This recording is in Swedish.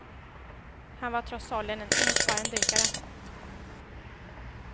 Han var trots åldern en erfaren dykare.